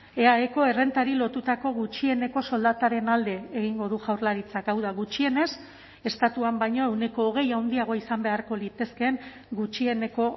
eaeko errentari lotutako gutxieneko soldataren alde egingo du jaurlaritzak hau da gutxienez estatuan baino ehuneko hogei handiagoa izan beharko litezkeen gutxieneko